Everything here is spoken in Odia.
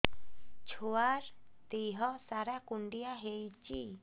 ଛୁଆର୍ ଦିହ ସାରା କୁଣ୍ଡିଆ ହେଇଚି